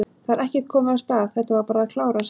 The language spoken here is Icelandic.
Það er ekkert komið af stað, þetta var bara að klárast?